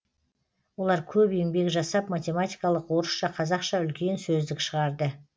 олар көп еңбек жасап математикалық орысша қазақша үлкен сөздік шығарды